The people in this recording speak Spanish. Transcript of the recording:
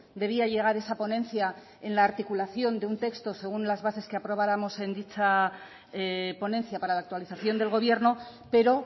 debía llegar esa ponencia en la articulación de un texto según las bases que aprobáramos en dicha ponencia para la actualización del gobierno pero